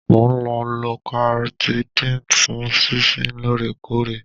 Mo ń lo Loratidine fún sísín lóòrèkóòrè.